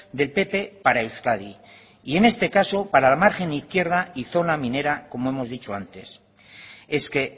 del pp para euskadi y en este caso para la margen izquierda y zona minera como hemos dicho antes es que